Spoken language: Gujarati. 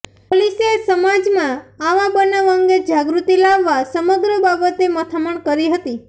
પોલીસે સમાજમાં આવા બનાવ અંગે જાગૃતિ લાવવા સમગ્ર બાબતે મથામણ કરી હતી